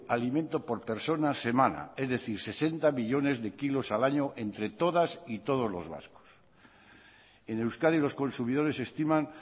alimento por persona semana es decir sesenta millónes de kilos al año entre todas y todos los vascos en euskadi los consumidores estiman